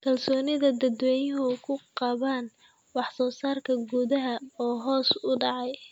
Kalsoonida dadweynuhu ku qabaan wax soo saarka gudaha oo hoos u dhacay.